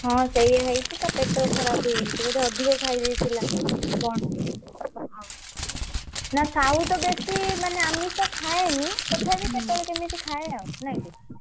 ହଁ ବୋଧେ ଅଧିକା ଖାଇ ଦେଇଥିଲା କଣ ନା ସାହୁ ତ ବେଶୀ ଆମିଷ ଖାଏନି ତଥାପି କେତେ ବେଳେ କେମିତି ଖାଏ ଆଉ ନା କି?